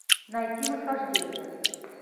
найти восхождение